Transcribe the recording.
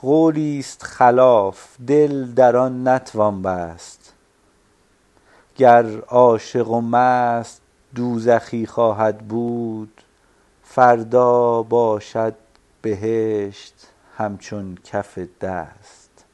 قولی ست خلاف دل در آن نتوان بست گر عاشق و مست دوزخی خواهد بود فردا باشد بهشت همچون کف دست